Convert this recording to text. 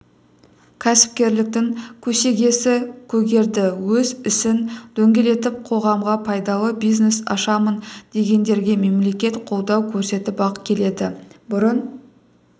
кәсіпкерліктің көсегесі көгерді өз ісін дөңгелетіп қоғамға пайдалы бизнес ашамын дегендерге мемлекет қолдау көрсетіп-ақ келеді бұрын